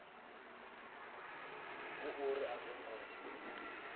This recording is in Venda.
hu uri a zwo ngo